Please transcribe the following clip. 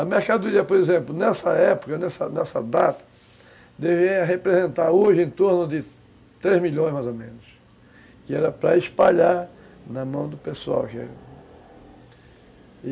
A mercadoria, por exemplo, nessa época, nessa nessa data, deveria representar hoje em torno de três milhões, mais ou menos, que era para espalhar na mão do pessoal já, e